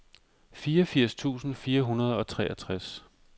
fireogfirs tusind fire hundrede og treogtres